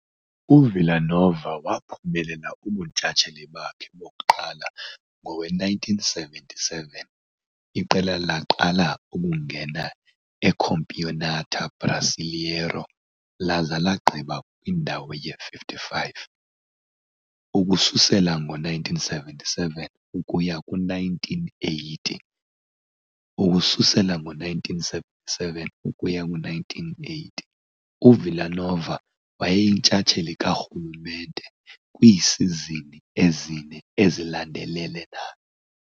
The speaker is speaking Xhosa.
UVila Nova waphumelela ubuntshatsheli bakhe bokuqala Ngowe-1977 iqela laqala ukungena eCampeonato Brasileiro laza lagqiba kwindawo ye-55. Ukususela ngo-1977 ukuya ku-1980, Ukususela ngo-1977 ukuya ku-1980, UVila Nova wayeyintshatsheli karhulumente kwiisizini ezine ezilandelelanayo.